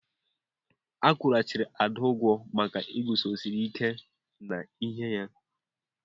A kwụghachiri Ada ụgwọ maka iguzosi ike n'ihe ya.